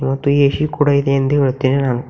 ಮತ್ತು ಎ_ಸಿ ಕೂಡ ಇದೆ ಎಂದು ಹೇಳುತ್ತೇನೆ ನಾನು --